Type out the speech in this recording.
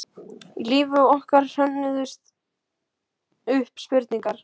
Í lífi okkar hrönnuðust upp spurningar.